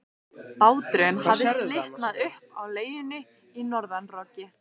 Báturinn hafði slitnað upp af legunni í norðanroki.